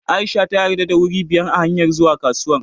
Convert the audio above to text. A'isha ta yarda da wuri biyar a hanyar zuwa kasuwar.